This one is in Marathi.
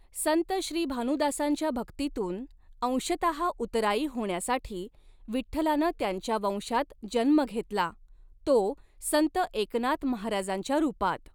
संत श्रीभानुदासांच्या भक्तीतून अंशतः उतराई होण्यासाठी विठ्ठलानं त्यांच्या वंशात जन्म घेतला तो संत एकनाथ महाराजांच्या रूपात.